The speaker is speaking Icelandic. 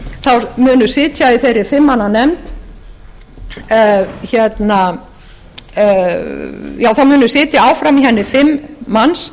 ef tekið er mið af þeim breytingartillögum sem ég hér mæli fyrir þá munu sitja áfram í henni fimm manns